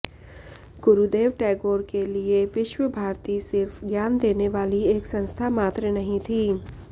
गुरुदेव टैगोर के लिए विश्व भारती सिर्फ ज्ञान देने वाली एक संस्था मात्र नहीं थी